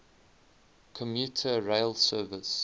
commuter rail service